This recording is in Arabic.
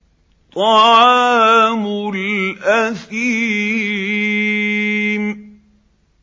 طَعَامُ الْأَثِيمِ